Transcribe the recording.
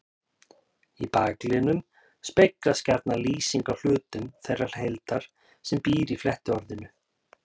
Í bakliðnum speglast gjarna lýsing á hlutum þeirrar heildar sem býr í flettiorðinu.